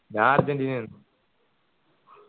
ഞാ അർജൻറീനയാണ്